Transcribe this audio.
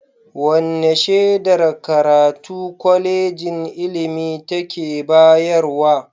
Wane shedar karatu Kwalejin ilimi take bayarwa?